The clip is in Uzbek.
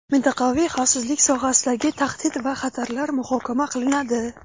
mintaqaviy xavfsizlik sohasidagi tahdid va xatarlar muhokama qilinadi.